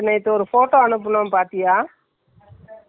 சின்னதா இருந்துச்சி அது முந்நூற்றி எண்பது ரூபாய்னு சொல்லி ரெண்டு.